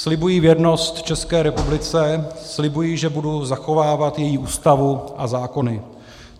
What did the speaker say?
"Slibuji věrnost České republice, slibuji, že budu zachovávat její Ústavu a zákony.